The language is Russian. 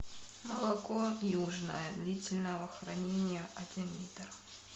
молоко южное длительного хранения один литр